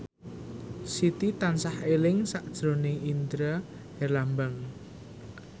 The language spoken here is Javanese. Siti tansah eling sakjroning Indra Herlambang